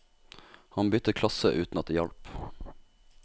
Han byttet klasse uten at det hjalp.